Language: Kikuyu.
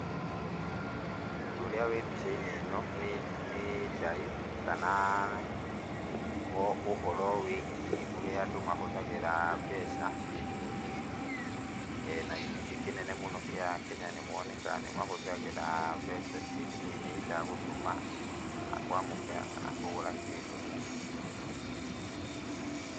Ũndũ ũrĩa wĩ mbica-inĩ ĩno nĩ nĩ ndaĩ kana ũhoro wĩgiĩ ũrĩa andũ mahũthagĩra mbeca ciĩ thimũ-inĩ, na gĩcunjĩ kĩnene mũno kĩa a kenya nĩmonekaga nĩmahũthagĩra mbeca cĩ thimũ-inĩ either gũtũma kana kwamũkĩra kana kũgũra kĩndũ.